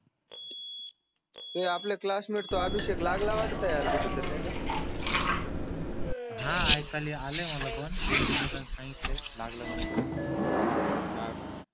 हे आपले क्लासमेट तो अभिषेक लागला वाटत यार कुठे तरी नाही का हा ऐकायला आलाय मला पण दोन तीन मुलान सांगितल कि लागला म्हणे तो हाका